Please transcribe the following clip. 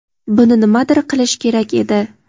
buni nimadir qilish kerak edi.